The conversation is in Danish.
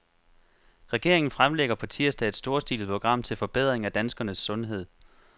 Regeringen fremlægger på tirsdag et storstilet program til forbedring af danskernes sundhed.